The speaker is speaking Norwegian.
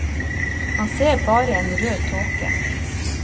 Han ser bare en rød tåke.